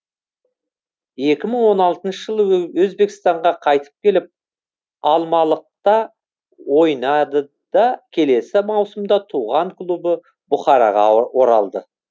екі мың он алтыншы жылы өзбекстанға қайтып келіп алмалықта ойнады да келесі маусымда туған клубы бұхараға оралды